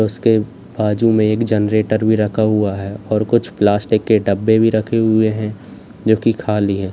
उसके बाजू में एक जनरेटर भी रखा हुआ है और कुछ प्लास्टिक के डब्बे भी रखे हुए हैं जो कि खाली है।